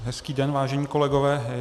Hezký den, vážení kolegové.